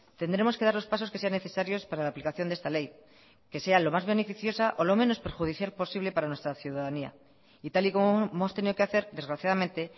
tendremos que dar los pasos que sean necesarios para la aplicación de esta ley que sea lo más beneficiosa o lo menos perjudicial posible para nuestra ciudadanía y tal y como hemos tenido que hacer desgraciadamente